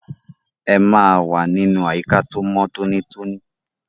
Ẹ máa wà nínú àyíká tó mọ́ tóní tóní!